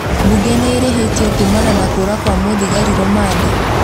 Mbunge nĩ ĩrĩhĩtio kuumana na kũũra kwa muthigari rũmande